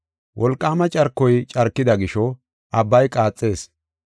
Wolqaama carkoy carkida gisho abbay qaaxees.